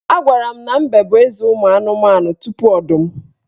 Agwara m na Mbe bụ eze ụmụanụmanụ tupu Ọdụm